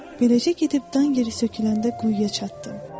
Beləcə gedib dan yeri söküləndə quyuya çatdım.